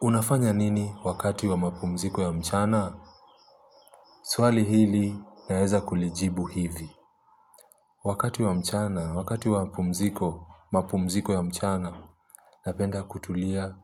Unafanya nini wakati wa mapumziko ya mchana? Swali hili naeza kulijibu hivi. Wakati wa mchana, wakati wa mapumziko, mapumziko ya mchana, napenda kutulia